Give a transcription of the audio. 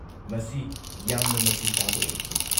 ꯃꯁꯤ ꯌꯥꯝꯅ ꯃꯆꯨ-ꯇꯥꯕ ꯑꯣꯏꯈꯤ꯫